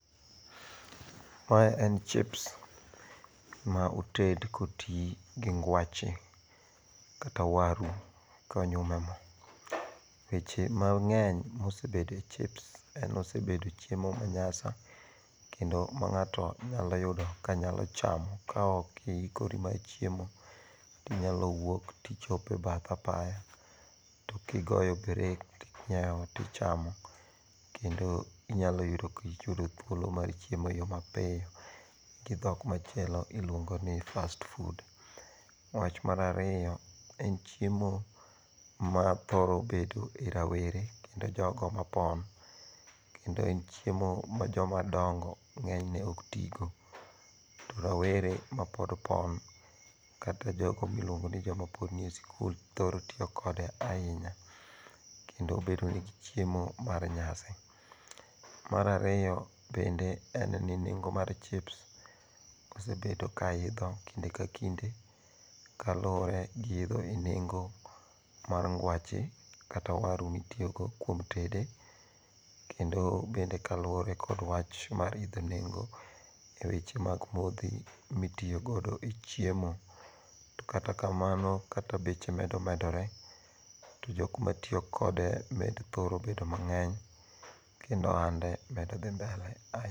Mae en chips ma oted ka oti gi gwache kata waru konyum e mo weche mange'ny ma osebet e chips en ni osebedo chiemo manyasi kendo ma nga'to nyalo yudo ka nyalo chamo ka okoikori mar chiemo tinyalo wuok to kichopo e bath apaya to kigoyo break to inya yawo to ichamo, kendo inyalo yudo ka iyudo thuolo mar chiemo e yo mapiyo gi thok machielo iluongo' ni first food, wach marariyo en chiemo mathoro bedo e rawere kendo jogo mopon kendo en chiemo ma jomadongo' nge'nyne oktigo, rowere ma pod pon kata jogo ma iluongo ni joma pod nie school thoro tiyo kode ahinya kendo bedo ni gichiemo mar nyasi, marariyo bende en ni nengo' mar chips osebedo ka itho kinde ka kinde kaluwore gi itho nengo mar ngwache kata waru mitiyogodo kuom tede kendo bende luwore gi wach mar itho nengo' eweche mag mothi mitiyogodo e chiemo to kata kamaoo to kaka beche medo medore to jok matiyokode medo thoro bedo mangeny kendo ohande medo thi mbele ahinya